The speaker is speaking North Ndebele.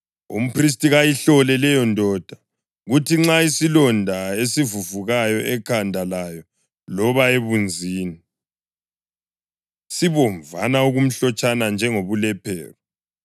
Umphristi kayihlole leyondoda, kuthi nxa isilonda esivuvukayo ekhanda layo loba ebunzini sibomvana-okumhlotshana njengobulephero,